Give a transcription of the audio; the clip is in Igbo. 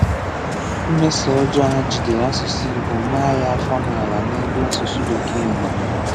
Mmèsọ̀ ọ̀jọọ ha jìdèrè asụ̀sụ́ Ìgbò màá ya áfọ̀ n’álà n’ebe asụ̀sụ́ Békee nọ.